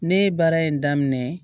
Ne ye baara in daminɛ